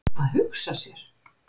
Að hugsa sér!